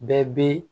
Bɛɛ bɛ